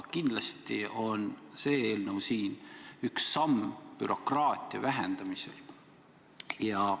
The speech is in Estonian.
Kindlasti on see eelnõu üks samm bürokraatia vähendamise poole.